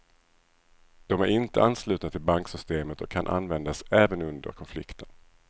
De är inte anslutna till banksystemet och kan användas även under konflikten.